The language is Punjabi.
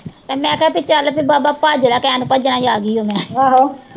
ਤੇ ਮੈਂ ਕਿ ਤੂੰ ਚੱਲ ਵੀ ਬਾਬਾ ਭੱਜ ਲੈ ਆਗੀ ਮੈਂ